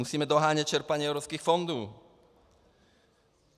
Musíme dohánět čerpání evropských fondů.